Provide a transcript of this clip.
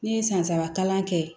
Ne ye san saba kalan kɛ